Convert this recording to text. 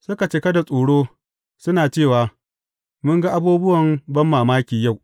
Suka cika da tsoro, suna cewa, Mun ga abubuwan banmamaki yau.